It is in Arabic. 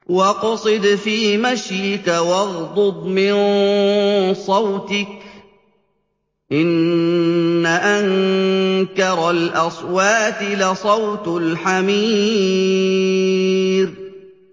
وَاقْصِدْ فِي مَشْيِكَ وَاغْضُضْ مِن صَوْتِكَ ۚ إِنَّ أَنكَرَ الْأَصْوَاتِ لَصَوْتُ الْحَمِيرِ